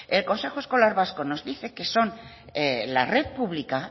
el consejo escolar vasco nos dice que son la red pública